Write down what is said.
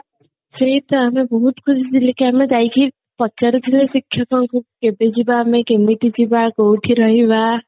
ସେଇତ ଆମେ ବହୁତ ଖୁସି ଥିଲେ କି ଆମେ ଯାଇକି ପଚାରି ଥାଉ ଶିକ୍ଷକଙ୍କୁ କି କେବେ ଯିବା ଆମେ କେମିତି ଯିବା କୋଉଠି ରହିବା